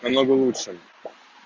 намного лучше